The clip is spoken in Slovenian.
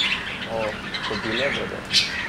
O, ko bi vedel.